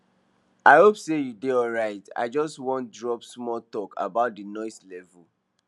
i hope say you dey alright i just wan drop small talk about the noise level